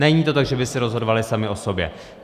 Není to tak, že by si rozhodovaly samy o sobě.